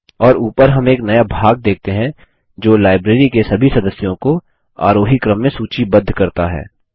और ऊपर हम एक नया भाग देखते हैं जो लाइब्रेरी के सभी सदस्यों को आरोही क्रम में सूचीबद्ध करता है